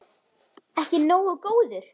Ekki nógu góður!